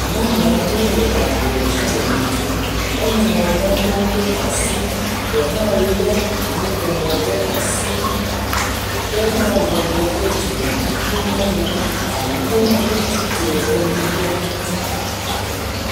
Nyɔnu aɖewo le ablɔdzi le yiyim. Woŋlɔ nanewo ɖe asi. Ɖe hã le nuƒomɔ ɖe asi be woawɔ teƒe dzimedidiwo na yewo alo wotsi tre ɖe nu ɖe ŋuti.